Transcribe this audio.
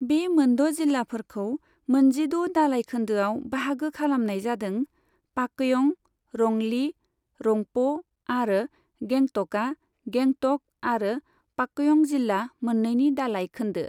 बे मोन द' जिल्लाफोरखौ मोनजिद' दालाय खोन्दोआव बाहागो खालामनाय जादों, पाकयं, रंली, रंप' आरो गेंटका गेंटक आरो पाकयं जिल्ला मोन्नैनि दालाय खोन्दो।